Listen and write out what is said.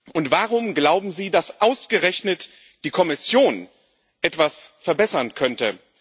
Und warum glauben Sie, dass ausgerechnet die Kommission etwas verbessern könnte?